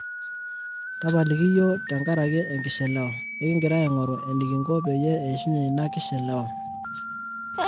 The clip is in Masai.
tapaliki yiok tengaraki ekishelewa ,ekigira iagoru enikingo peyie eishunye ina kishelewa